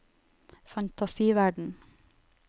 fantasiverden